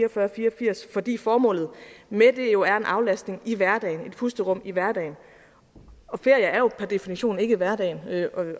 og fire og firs fordi formålet med det jo er en aflastning i hverdagen et pusterum i hverdagen og ferie er jo per definition ikke hverdag